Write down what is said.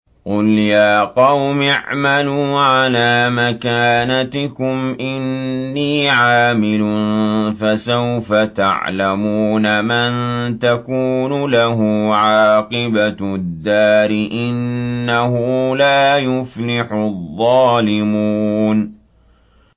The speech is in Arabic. قُلْ يَا قَوْمِ اعْمَلُوا عَلَىٰ مَكَانَتِكُمْ إِنِّي عَامِلٌ ۖ فَسَوْفَ تَعْلَمُونَ مَن تَكُونُ لَهُ عَاقِبَةُ الدَّارِ ۗ إِنَّهُ لَا يُفْلِحُ الظَّالِمُونَ